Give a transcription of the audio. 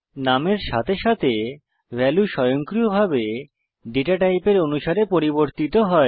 নামের সাথে সাথে ভ্যালু স্বয়ংক্রিয়ভাবে ডেটা টাইপের অনুসারে পরিবর্তিত হয়